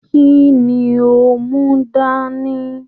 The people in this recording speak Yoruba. Kínní o n mú dání?